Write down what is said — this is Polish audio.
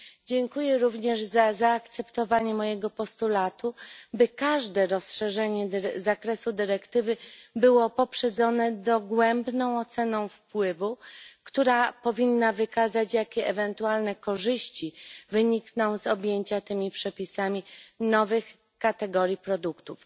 Dziękuję również za zaakceptowanie mojego postulatu, by każde rozszerzenie zakresu dyrektywy było poprzedzone dogłębną oceną wpływu, która powinna wykazać, jakie ewentualne korzyści wynikną z objęcia tymi przepisami nowych kategorii produktów.